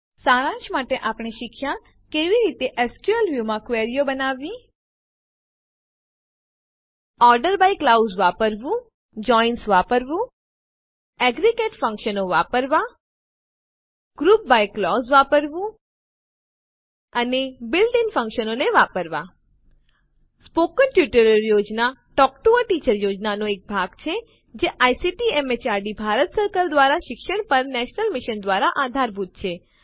સારાંશમાં આપણે શીખ્યાં કે કેવી રીતે એસક્યુએલ વ્યૂ માં ક્વેરીઓ બનાવવી ઓર્ડર બાય ક્લાઉઝ વાક્યાંશ વાપરવું જોઇન્સ વાપરવું એગ્રેગેટ ફંક્શન્સ એકંદર વિધેયો વાપરવાં ગ્રુપ બાય ક્લાઉઝ વાક્યાંશ વાપરવું અને બીલ્ટ ઇન ફંક્શનો આંતરિક બંધારણીય વિધેયો ને વાપરવાં મૌખિક ટ્યુટોરિયલ યોજના ટોક ટૂ અ ટીચર યોજનાનો એક ભાગ છે જે આઇસીટી એમએચઆરડી ભારત સરકાર દ્વારા શિક્ષણ પર નેશનલ મિશન દ્વારા આધારભૂત છે